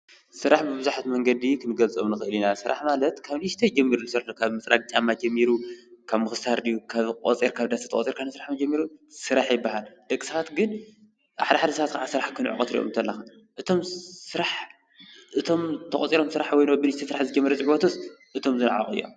ስራሕ ብቡዝሓት መንገዲ ክንግልጾም ንክእል ኢና፤ ስራሕ ማለት ካብ ንእሽተይ ጀሚሩ ዘሎ ካብ ምጽራግ ጫማ ጀሚሩ ካብ ምኩስታር ድዩ ካብ ቆጺርካ ካብ እንዳ ሰብ ተቆጺርካ ስራሕ እንተጀሚሩ ስራሕ ይብሃል። ደቂ ሰባት ግን ሓዳሓደ ሰባት ከዓ ስራሕ ክንዕቁ ክትርእዮም ከለካ እቶም ስራሕ እቶም ተቆጺሮም ስራሕ ዝጀመሩ ትፈቱስ ወይስ እቶም ዝነዓቁ እዮም?